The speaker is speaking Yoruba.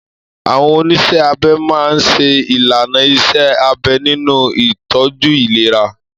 Àwọn oníṣẹ́ abẹ máa ń ṣe ìlànà iṣẹ́ abẹ nínú ìtọ́jú ìlera.